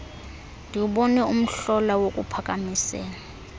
ndiwubone umhlola wokuphakamisela